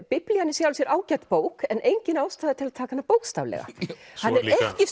Biblían í sjálfu sér ágæt bók en engin ástæða til að taka hana bókstaflega hann er